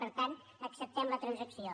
per tant acceptem la transacció